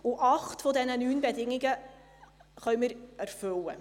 Acht dieser neun Bedingungen können wir erfüllen.